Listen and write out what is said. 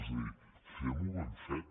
és a dir fem ho ben fet